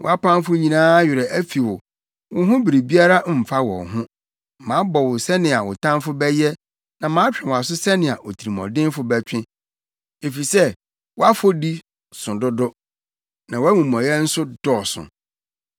Wʼapamfo nyinaa werɛ afi wo; wo ho biribiara mfa wɔn ho. Mabɔ wo sɛnea wo tamfo bɛyɛ na matwe wʼaso sɛnea otirimɔdenfo bɛtwe, efisɛ wʼafɔdi so dodo na wʼamumɔyɛ nso dɔɔso.